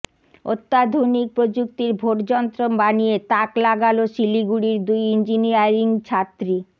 অত্যাধুনিক প্রযুক্তির ভোটযন্ত্র বানিয়ে তাক লাগালো শিলিগুড়ির দুই ইঞ্জিনিয়ারিং ছাত্রী